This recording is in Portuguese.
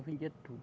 Eu vendia tudo.